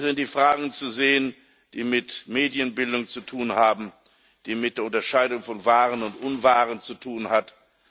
Es sind die Fragen zu sehen, die mit Medienbildung zu tun haben, die mit Unterscheidung von Wahrem und Unwahrem zu tun haben.